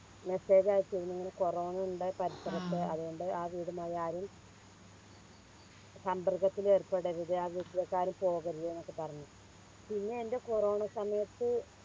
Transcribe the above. Message അയച്ചിരുന്നു ഇങ്ങനെ corona ഇണ്ട് പരിസരത്ത് അതുകൊണ്ട് ആ വീടുമായി ആരും സമ്പർക്കത്തിൽ ഏർപ്പെടരുത് ആ വീട്ടിലേക്കരും പോവരുതുന്നൊക്കെ പറഞ്ഞ് പിന്നെ എൻറെ കൊറോണ സമയത്ത്